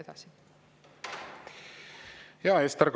Ester Karuse, palun!